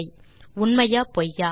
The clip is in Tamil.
உண்மையா பொய்யா